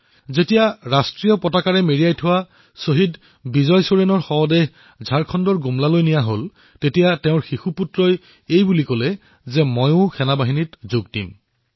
যেতিয়া ত্ৰিৰংগাৰে মেৰিয়াই শ্বহীদ বিজয় ছোৰেণৰ শৱদেহ ঝাৰখণ্ডৰ গুমলাত উপস্থিত হল তেতিয়া তেওঁৰ ফুকলীয়া পুত্ৰই কলে যে তেওঁও সেনাবাহিনীত ভৰ্তি হব